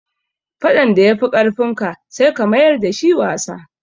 Faɗan da ya fi ƙarfin ka, sai ka mayar da shi wasa.